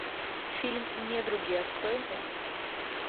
фильм недруги открой мне